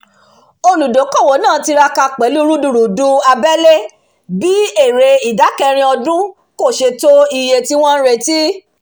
olùdókòwò náà tiraka pẹ̀lú rudurudu abẹlé bí èrè ìdá kẹrin ọdún kò ṣe to iye tí wọ́n ń retí